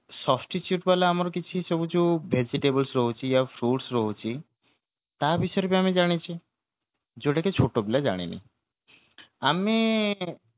substitute ବାଲା ଆମର କିଛି ସବୁ ଯୋଉ vegetables ରହୁଛି ୟା fruits ରହୁଛି ତା ବିଷୟରେ ବି ଆମେ ଜାଣିଛେ ଯୋଉଟା ବି ଛୋଟପିଲା ଜାଣିନି ଆମେ